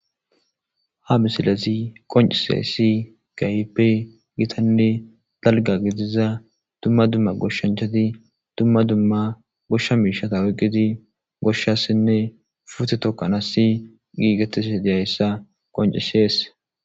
Ha misilezi qoncisiyo issi keehippe gitanne dalgga giddida dumma dumma goshanichati dumma dumma goshsha mishata oyiqqid goshasine pute tokasnasi gigetishe diza issa besees.